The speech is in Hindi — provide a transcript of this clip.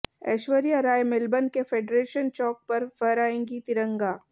ऐश्वर्या राय मेलबर्न के फेडरेशन चौक पर फहराएंगी तिरंगा